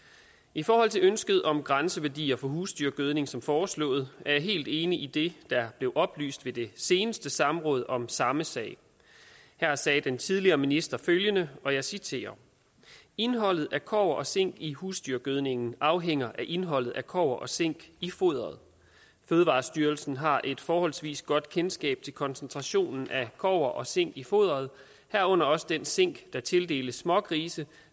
i forhold til ønsket om grænseværdier på husdyrgødning som foreslået er jeg helt enig i det der blev oplyst ved det seneste samråd om samme sag her sagde den tidligere minister følgende og jeg citerer indholdet af kobber og zink i husdyrgødningen afhænger af indholdet af kobber og zink i foderet fødevarestyrelsen har et forholdsvis godt kendskab til koncentrationen af kobber og zink i foderet herunder også den zink der tildeles smågrise